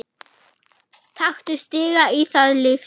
Taktu stiga í stað lyftu.